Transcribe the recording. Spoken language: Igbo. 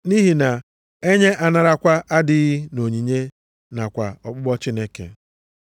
Nʼihi na enye anarakwa adịghị nʼonyinye nakwa ọkpụkpọ Chineke.